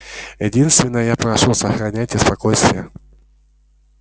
единственное я прошу сохраняйте спокойствие